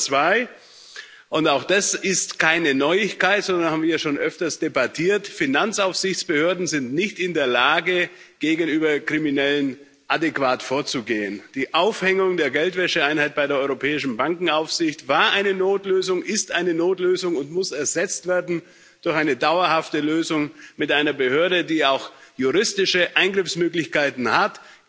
Problem Nummer zwei und auch das ist keine Neuigkeit, sondern das haben wir ja schon öfters debattiert Finanzaufsichtsbehörden sind nicht in der Lage, gegenüber Kriminellen adäquat vorzugehen. Die Aufhängung der Geldwäscheeinheit bei der Europäischen Bankenaufsicht war eine Notlösung, ist eine Notlösung und muss ersetzt werden durch eine dauerhafte Lösung mit einer Behörde, die auch juristische Eingriffsmöglichkeiten hat.